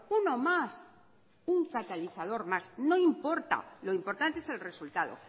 uno más un catalizador más no importa lo importante es el resultado